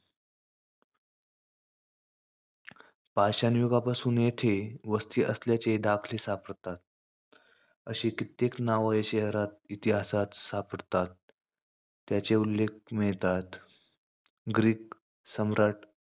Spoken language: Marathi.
पाषाणयुगापासुन येथे वस्ती असल्याचे दाखले सापडतात. अशी कित्येक नावं या शहरात इतिहासात सापडतात. त्याचे उल्लेख मिळतात. ग्रीक सम्राट,